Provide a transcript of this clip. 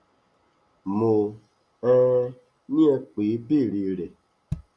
mo um ní ẹ pè é e béèrè rẹ